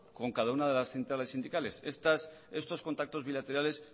con cada una de las centrales sindicales estos contratos bilaterales